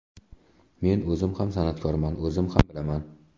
Men o‘zim ham san’atkorman, o‘zim ham bilaman.